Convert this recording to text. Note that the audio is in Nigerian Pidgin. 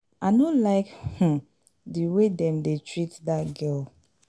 i no like um the way dem dey treat dat girl